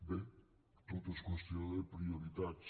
bé tot és qüestió de prioritats